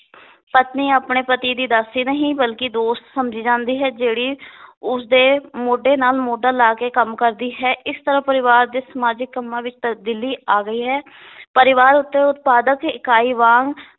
ਪਤਨੀ ਆਪਣੇ ਪਤੀ ਦੀ ਦਾਸੀ ਨਹੀ ਬਲਕਿ ਦੋਸਤ ਸਮਝੀ ਜਾਂਦੀ ਹੈ ਜਿਹੜੀ ਉਸ ਦੇ ਮੋਢੇ ਨਾਲ ਮੋਢਾ ਲਾ ਕੇ ਕੰਮ ਕਰਦੀ ਹੈ ਇਸ ਤਰਾਂ ਪਰਿਵਾਰ ਦੇ ਸਮਾਜਿਕ ਕੰਮਾਂ ਵਿੱਚ ਤਬਦੀਲੀ ਆ ਗਈ ਹੈ ਪਰਿਵਾਰ ਉਤੇ ਉਤਪਾਦਕ ਇਕਾਈ ਵਾਂਗ